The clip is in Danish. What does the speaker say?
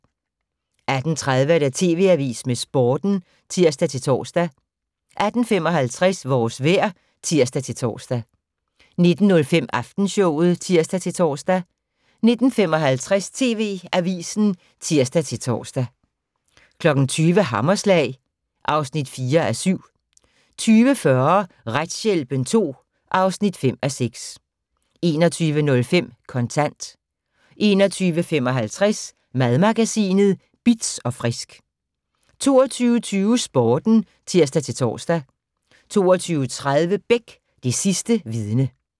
18:30: TV Avisen med Sporten (tir-tor) 18:55: Vores vejr (tir-tor) 19:05: Aftenshowet (tir-tor) 19:55: TV Avisen (tir-tor) 20:00: Hammerslag (4:7) 20:40: Retshjælpen II (5:6) 21:05: Kontant 21:55: Madmagasinet Bitz & Frisk 22:20: Sporten (tir-tor) 22:30: Beck - Det sidste vidne